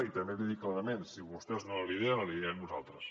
i també l’hi dic clarament si vostès no la lideren la liderarem nosaltres